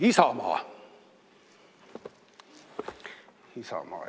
Isamaa!